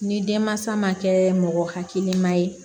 Ni denmansa ma kɛ mɔgɔ hakilima ye